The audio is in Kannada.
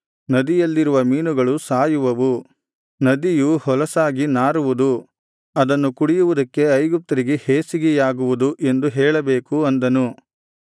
ನದಿಯಲ್ಲಿರುವ ಮೀನುಗಳು ಸಾಯುವವು ನದಿಯು ಹೊಲಸಾಗಿ ನಾರುವುದು ಅದನ್ನು ಕುಡಿಯುವುದಕ್ಕೆ ಐಗುಪ್ತರಿಗೆ ಹೇಸಿಗೆಯಾಗುವುದು ಎಂದು ಹೇಳಬೇಕು ಅಂದನು